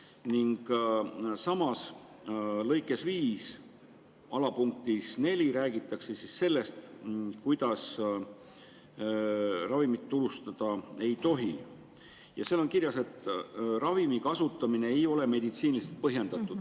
Ning sama paragrahvi lõike 5 punktis 4 räägitakse sellest, millal ravimit turustada ei tohi, ja seal on kirjas, et kui ravimi kasutamine ei ole meditsiiniliselt põhjendatud.